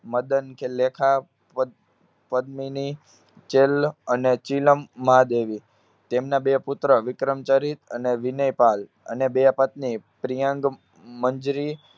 મદન ખ~લેખા, પદ~પદ્મિની, ચીલ, અને ચિલમ મહાદેવી. તેમના બે પુત્ર વિક્રમચરિત અને વિનયપાલ અને બે પત્ની પ્રિયાન્ગમંજરી